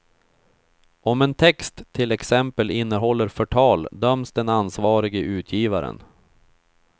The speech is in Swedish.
Om en text till exempel innehåller förtal döms den ansvarige utgivaren.